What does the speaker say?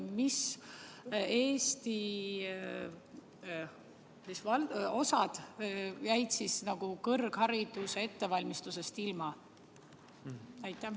Missugused Eesti osad jäid kõrghariduse ettevalmistusest ilma?